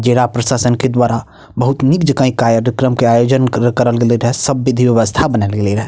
जिला प्रशासन के द्वारा बहुत निक जगह ई कार्यक्रम के आयोजन करा करल गेलई रहे सब विधी व्यवस्था बनल गेलई रहे।